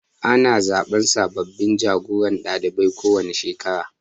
Ana zaɓen sababbin jagoran ɗalibai kowane shekara